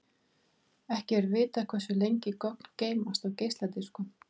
Ekki er vitað hversu lengi gögn geymast á geisladiskum.